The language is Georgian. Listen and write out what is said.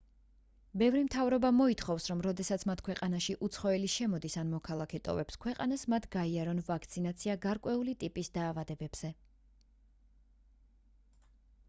ბევრი მთავრობა მოითხოვს რომ როდესაც მათ ქვეყანაში უცხოელი შემოდის ან მოქალაქე ტოვებს ქვეყანას მათ გაიარონ ვაქცინაცია გარკვეული ტიპის დაავადებებზე